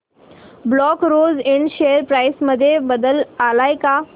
black Rose Ind share price मध्ये बदल आलाय का